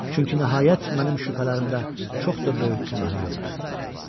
Çünki nəhayət mənim şübhələrimdə çox da böyük günah yoxdur.